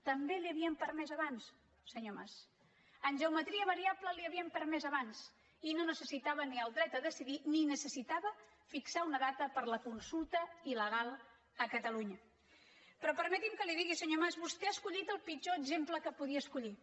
també l’hi havien permès abans senyor mas en geometria variable l’hi havien permès abans i no necessitava ni el dret a decidir ni necessitava fixar una data per a la consulta il·però permeti’m que li ho digui senyor mas vostè ha escollit el pitjor exemple que podia escollir